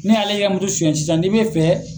N'i ale y'e e ka suyan sisan n'i bɛ fɛ